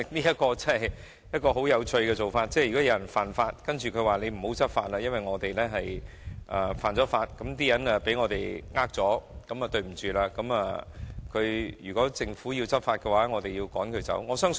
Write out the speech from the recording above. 這做法真的很有趣，等於有人犯法卻要求政府不要執法，因為他們犯法令市民被騙，所以一旦政府執法，市民便會被趕走。